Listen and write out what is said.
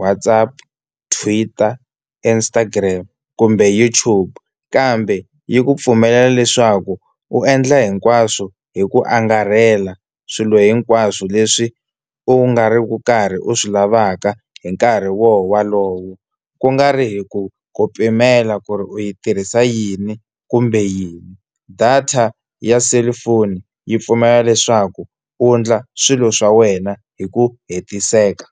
Whatsapp, Twitter, Instagram kumbe YouTube, kambe yi ku pfumelela leswaku u endla hinkwaswo hi ku angarhela swilo hinkwaswo leswi u nga ri ku karhi u swi lavaka hi nkarhi wolowo, ku nga ri hi ku ku pimela ku ri u yi tirhisa yini kumbe yini. Data ya cellphone yi pfumela leswaku u endla swilo swa wena hi ku hetiseka.